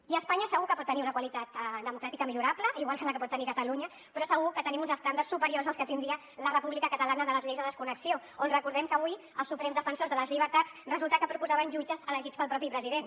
i espanya segur que pot tenir una qualitat democràtica millorable igual que la pot tenir catalunya però segur que tenim uns estàndards superiors als que tindria la república catalana de les lleis de desconnexió on recordem que avui els suprems defensors de les llibertats resulta que proposaven jutges elegits pel mateix president